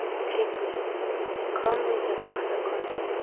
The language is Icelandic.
TRYGGVI: Ég kom við hjá þvottakonunni.